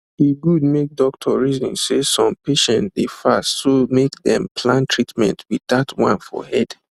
e good make doctor reason say some patients dey fast so make dem plan treatment with that one for head